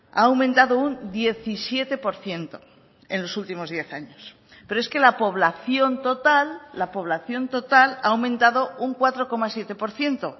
ha aumentado un diecisiete por ciento en los últimos diez años pero es que la población total la población total ha aumentado un cuatro coma siete por ciento